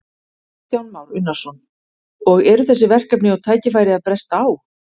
Kristján Már Unnarsson: Og eru þessi verkefni og tækifæri að bresta á?